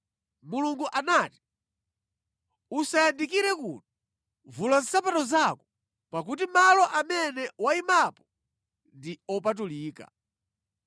Mulungu anati, “Usayandikire kuno. Vula nsapato zako, pakuti malo amene wayimapo ndi opatulika.”